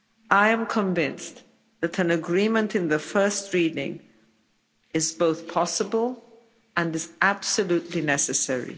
I am convinced that an agreement in the first reading is both possible and is absolutely necessary.